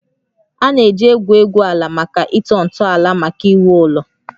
A na-eji egwu egwu egwu ala maka ịtọ ntọala maka iwu ụlọ